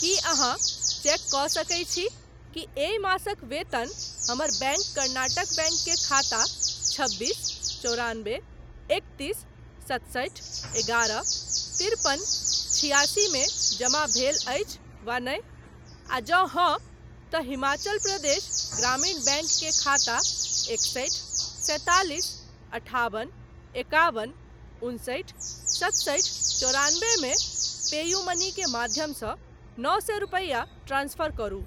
की अहाँ चेक कऽ सकैत छी कि एहि मासक वेतन हमर बैंक कर्नाटक बैंक के खाता छबीस चौरानबे एकतीस सतसठि एगारह तिरपन छिआसी मे जमा भेल अछि वा नहि, आ जँ हाँ, तँ हिमाचल प्रदेश ग्रामीण बैंक के खाता एकसठि सैंतालिस अठाबन एकाबन उनसठि सतसठि चौरानबे मे पेयूमनी के माध्यमसँ नओ सए रुपैया ट्रांसफर करू।